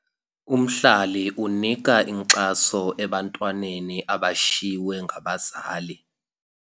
Umhlali unika inkxaso ebantwaneni abashiywe ngabazali.